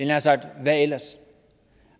nær sagt hvad ellers